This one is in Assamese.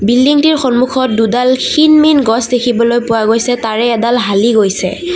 বিল্ডিংটিৰ সন্মুখত দুডাল ক্ষীণ মীন গছ দেখিবলৈ পোৱা গৈছে তাৰে এডাল হালি গৈছে।